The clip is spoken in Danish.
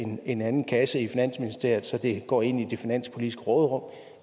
en anden kasse i finansministeriet så det går ind i det finanspolitiske råderum